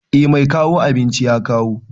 Eh mai kawo abinci ya kawo.